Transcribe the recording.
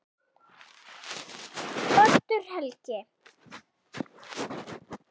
Oddur Helgi.